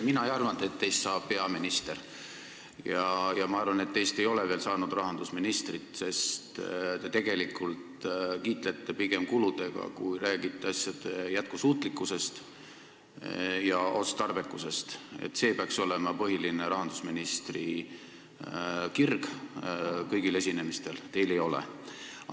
Mina ei arvanud, et teist saab hea minister, ja ma arvan, et teist ei ole veel saanud rahandusministrit, sest te tegelikult kiitlete pigem kuludega, mitte ei räägi asjade jätkusuutlikkusest ja otstarbekusest, mis peaks olema rahandusministri põhiline kirg kõigil esinemistel, aga teil seda ei ole.